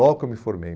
Logo que eu me formei.